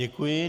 Děkuji.